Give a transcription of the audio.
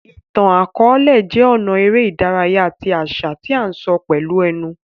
Ìtàn-àkọọlẹ jé ọnà eré ìdárayá ti àṣà tí a n sọ pẹlú ẹnu